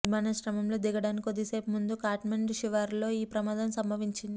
విమానాశ్రయంలో దిగడానికి కొద్ది సేపు ముందు ఖాట్మండ్ శివారులో ఈ ప్రమాదం సంభవించింది